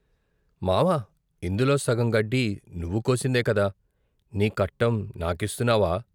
"మావా! ఇందులో సగం గడ్డి నువ్వు కోసిందేకదా నీ కట్టం నాకిస్తు న్నావా?